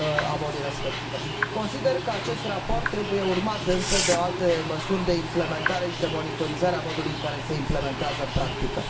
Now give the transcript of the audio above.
a bolii respective. Consider că acest raport trebuie urmat însă de alte măsuri de implementare și de monitorizare a modului în care se implementează în practică.